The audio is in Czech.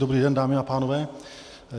Dobrý den, dámy a pánové.